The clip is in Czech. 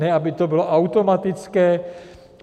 Ne aby to bylo automatické.